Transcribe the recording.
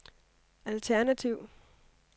alternativ